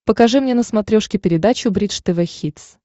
покажи мне на смотрешке передачу бридж тв хитс